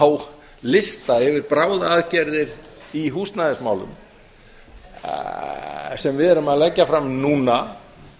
há lista yfir bráðaaðgerðir í húsnæðismálum sem við erum að leggja fram núna